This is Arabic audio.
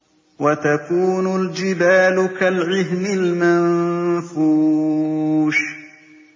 وَتَكُونُ الْجِبَالُ كَالْعِهْنِ الْمَنفُوشِ